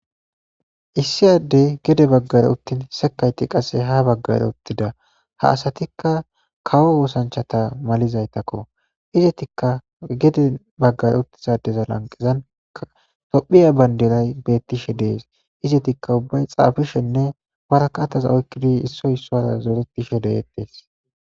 Issi addey gede baggara uttin sekayti qasse ha baggare uttida ha asatikka kawo oosanchata malizaytakko izetikka gede baggare uttizadeza lanqezan toophphiya bandiray bettishe dees izetikka ubbay xaafishenne warakattaza oykkidi issoy issuwara zoretishe de'ettees